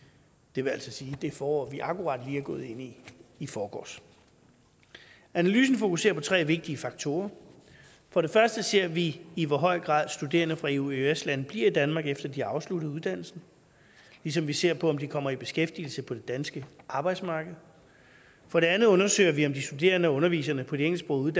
det vil altså sige det forår vi akkurat lige er gået ind i i forgårs analysen fokuserer på tre vigtige faktorer for det første ser vi i hvor høj grad studerende fra eueøs lande bliver i danmark efter at de har afsluttet uddannelsen ligesom vi ser på om de kommer i beskæftigelse på det danske arbejdsmarked for det andet undersøger vi om de studerende og underviserne på de engelsksprogede